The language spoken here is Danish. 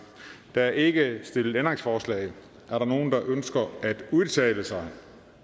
der er ikke stillet ændringsforslag er der nogen der ønsker at udtale sig